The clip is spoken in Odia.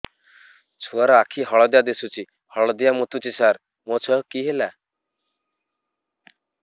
ଛୁଆ ର ଆଖି ହଳଦିଆ ଦିଶୁଛି ହଳଦିଆ ମୁତୁଛି ସାର ମୋ ଛୁଆକୁ କି ହେଲା